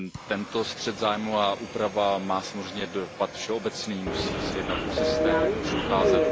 Tento střet zájmů a úprava má samozřejmě dopad všeobecný, musí se jednat o systém, jak mu předcházet.